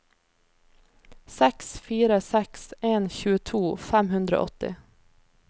seks fire seks en tjueto fem hundre og åtti